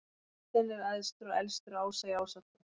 Óðinn er æðstur og elstur ása í Ásatrú.